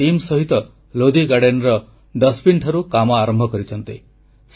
ସେ ନିଜ ଦଳ ସହିତ ଲୋଧି ଗାର୍ଡେନର ଡଷ୍ଟବିନଠାରୁ କାମ ଆରମ୍ଭ କରିଛନ୍ତି